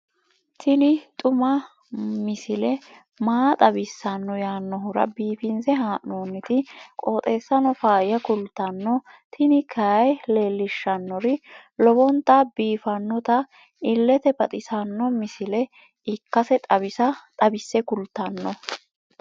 tini xuma mtini maa xawissanno yaannohura biifinse haa'noonniti qooxeessano faayya kultanno tini kayi leellishshannori lowonta biiffinota illete baxissanno misile ikkase xawisse kultanno.